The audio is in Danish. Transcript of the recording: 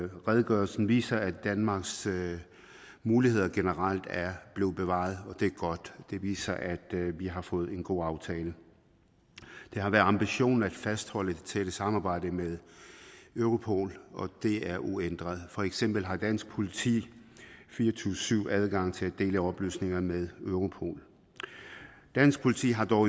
redegørelsen viser at danmarks muligheder generelt er blevet bevaret og det er godt det viser at vi har fået en god aftale det har været ambitionen at fastholde det tætte samarbejde med europol og det er uændret for eksempel har dansk politi fire og tyve syv adgang til at dele oplysninger med europol dansk politi har dog